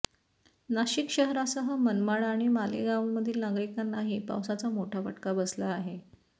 नाशिक शहरासह मनमाड आणि मालेगावमधील नागरिकांनाही पावसाचा मोठा फटका बसला आहे